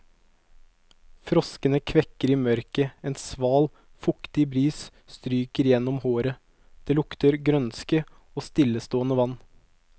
Froskene kvekker i mørket, en sval, fuktig bris stryker gjennom håret, det lukter grønske og stillestående vann.